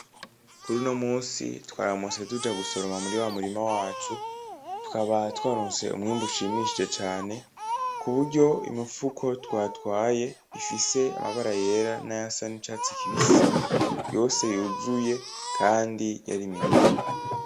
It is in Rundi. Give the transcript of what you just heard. Kur'uno munsi twaramutse tuja gusoroma muri wa murima wacu, tukaba twaronse umwimbu mwinshi cane kuburyo imifuko twatwaye ifis'amabara yera nayasa n'icatsi kibisi yose yuzuye kandi yari minini.